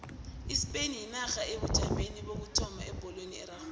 ispain yinarha esebujameni bokuthoma ebholweni erarhwako